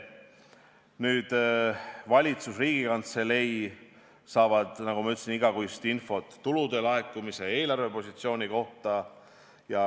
Valitsus ja Riigikantselei saavad, nagu ma ütlesin, igakuist infot tulude laekumise ja eelarvepositsiooni kohta.